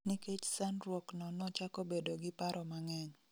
Nikech sandruok no nochako bedo gi paro mang'eny